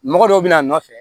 Mɔgɔ dɔw bɛ na a nɔfɛ